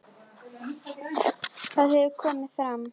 Það hefur komið fram.